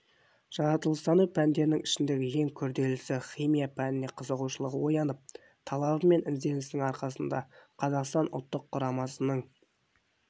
жаратылыстану пәндерінің ішіндегі ең күрделісі химия пәніне қызығушылығы оянып талабы мен ізденісінің арқасында қазақстан ұлттық құрамасының